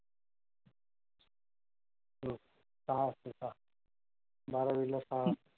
सहा असेल सहा. बारावीला सहा.